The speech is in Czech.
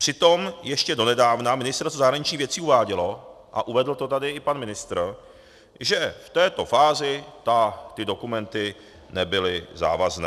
Přitom ještě donedávna Ministerstvo zahraničních věcí uvádělo, a uvedl to tady i pan ministr, že v této fázi ty dokumenty nebyly závazné.